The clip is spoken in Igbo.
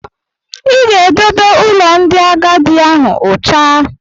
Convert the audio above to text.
Ị ga-edobe ụlọ ndị agadi ahụ ụcha!